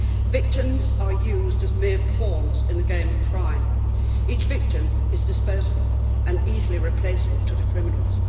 Victims are used as mere pawns in the game of crime. Each victim is disposable and easily replaceable to the criminals.